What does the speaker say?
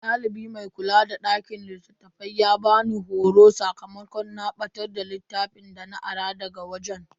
Dalibi mai kula da dakin littafai ya bani horo sakamakon na batar da littafin dana ara daga wajen.